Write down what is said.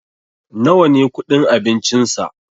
nawa ne kudin abincinsa?